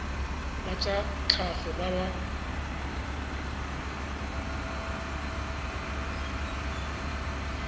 ba tsa tlhago ba ba